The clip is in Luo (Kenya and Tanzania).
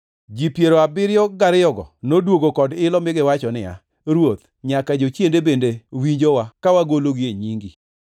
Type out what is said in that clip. Ji piero abiriyogo noduogo kod ilo mi giwacho niya, “Ruoth, nyaka jochiende bende winjowa ka wagologi e nyingi.”